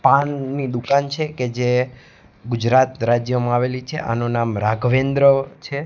પાનની દુકાન છે કે જે ગુજરાત રાજ્યમાં આવેલી છે આનુ નામ રાઘવેન્દ્ર છે.